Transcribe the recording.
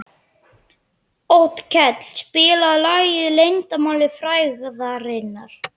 Otkell, spilaðu lagið „Leyndarmál frægðarinnar“.